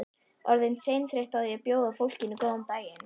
Orðin seinþreytt á því að bjóða fólkinu góðan daginn.